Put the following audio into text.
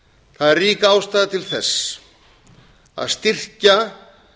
það er rík ástæða til að styrkja